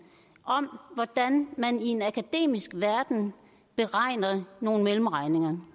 om hvordan man i en akademisk verden beregner nogle mellemregninger